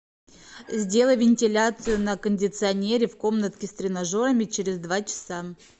сделай вентиляцию на кондиционере в комнатке с тренажерами через два часа